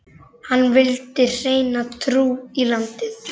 Hann vildi hreina trú í landið.